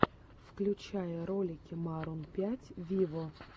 включай ролики марун пять виво